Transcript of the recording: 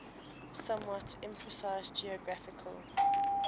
somewhat imprecise geographical